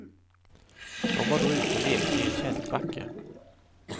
De var då ute och lekte i en kälkbacke.